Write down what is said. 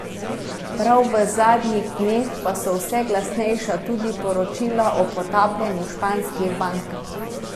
Prav v zadnjih dneh pa so vse glasnejša tudi poročila o potapljanju španskih bank.